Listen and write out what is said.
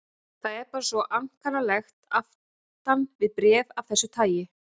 Það er bara svo ankannalegt aftan við bréf af þessu tagi.